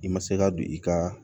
I ma se ka don i ka